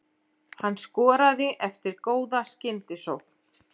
Hann skoraði eftir góða skyndisókn.